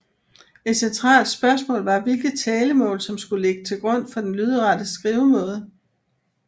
Et centralt spørgsmål var hvilket talemål som skulle ligge til grund for den lydrette skrivemåde